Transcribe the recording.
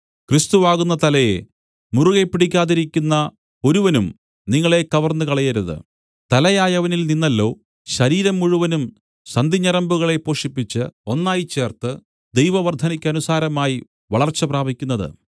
ക്രിസ്തുവാകുന്ന തലയെ മുറുകെ പിടിക്കാതിരിക്കുന്ന ഒരുവനും നിങ്ങളെ കവർന്നു കളയരുത് തലയായവനിൽ നിന്നല്ലോ ശരീരം മുഴുവൻ സന്ധിഞരമ്പുകളെ പോഷിപ്പിച്ച് ഒന്നായിച്ചേർത്ത് ദൈവവർദ്ധയ്ക്കനുസാരമായി വളർച്ച പ്രാപിക്കുന്നത്